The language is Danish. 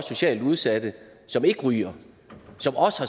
socialt udsatte som ikke ryger som også